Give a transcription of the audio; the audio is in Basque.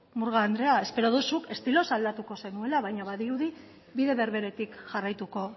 murga andrea espero dut zuk estiloz aldatuko zenuela baina badirudi bide berberetik jarraituko